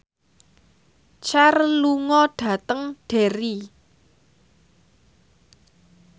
Cher lunga dhateng Derry